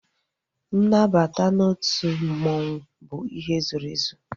Nnabata n'otu mmanwu bụ ihe zoro ezo